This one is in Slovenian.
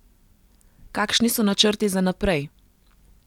Kakšni so načrti za naprej?